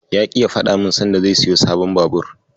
Ya ƙi ya faɗa min sanda zai siyo sabon Babur.